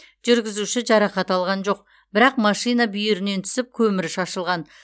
жүргізуші жарақат алған жоқ бірақ машина бүйірінен түсіп көмірі шашылған